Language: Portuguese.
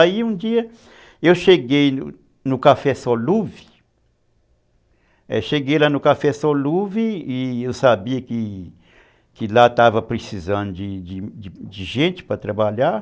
Aí um dia eu cheguei no Café Solúvel, cheguei lá no Café Solúvel e eu sabia que lá estava precisando de gente para trabalhar.